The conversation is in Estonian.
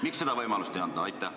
Miks seda võimalust ei anta?